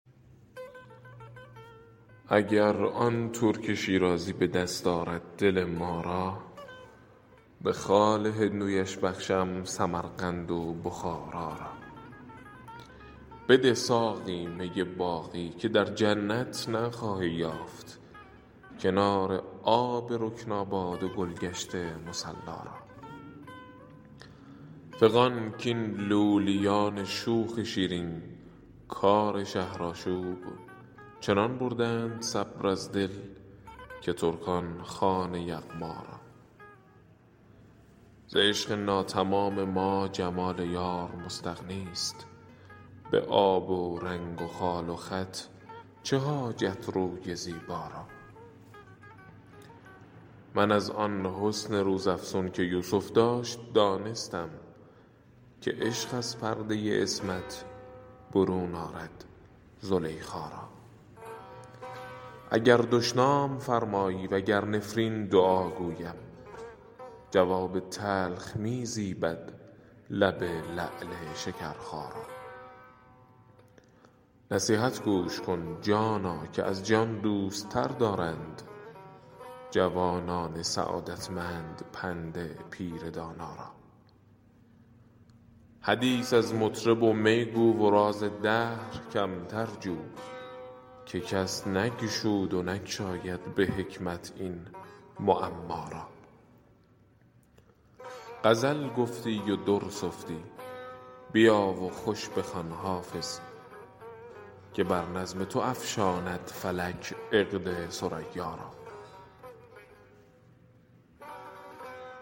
اگر آن ترک شیرازی به دست آرد دل ما را به خال هندویش بخشم سمرقند و بخارا را بده ساقی می باقی که در جنت نخواهی یافت کنار آب رکناباد و گل گشت مصلا را فغان کاین لولیان شوخ شیرین کار شهرآشوب چنان بردند صبر از دل که ترکان خوان یغما را ز عشق ناتمام ما جمال یار مستغنی است به آب و رنگ و خال و خط چه حاجت روی زیبا را من از آن حسن روزافزون که یوسف داشت دانستم که عشق از پرده عصمت برون آرد زلیخا را اگر دشنام فرمایی و گر نفرین دعا گویم جواب تلخ می زیبد لب لعل شکرخا را نصیحت گوش کن جانا که از جان دوست تر دارند جوانان سعادتمند پند پیر دانا را حدیث از مطرب و می گو و راز دهر کمتر جو که کس نگشود و نگشاید به حکمت این معما را غزل گفتی و در سفتی بیا و خوش بخوان حافظ که بر نظم تو افشاند فلک عقد ثریا را